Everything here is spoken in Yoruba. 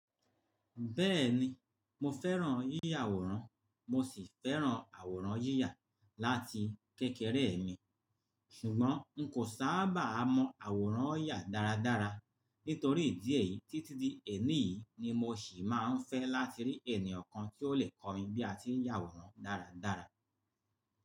Bẹ́ẹ̀ni, mo fẹ́ràn yíyà àwòrán, mo sì fẹ́ràn àwòrán yíyà láti kékeré mi, ṣùgbọ́n n kò sábà mọ àwòrán yà dáradára nítorí idi eyìí títí di ẹni yìí ni mo sì máa ń fẹ́ láti rí ènìyàn kan tí ó lè kọ́ mi bí a ti ń yà àwòrán dáradára.